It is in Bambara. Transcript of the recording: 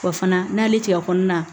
Wa fana n'ale tigɛ kɔnɔna